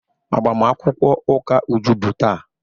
Agbamakwụkwọ ụka Uju bụ taa.